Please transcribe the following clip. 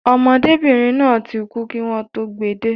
Ọmọdébìnrin náà ti kú kí wọn tó gbe dé